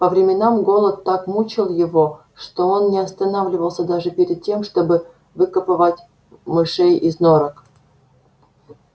по временам голод так мучил его что он не останавливался даже перед тем чтобы выкапывать мышей из норок